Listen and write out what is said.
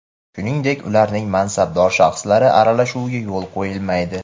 shuningdek ularning mansabdor shaxslari aralashuviga yo‘l qo‘yilmaydi.